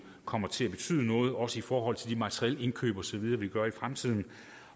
kommer til at betyde noget også i forhold til de materielindkøb osv vi gør i fremtiden